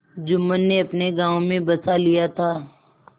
जुम्मन ने अपने गाँव में बसा लिया था